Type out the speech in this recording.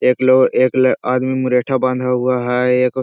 एक लो एक ल आदमी मुरेठा बाँधा हुआ है एक --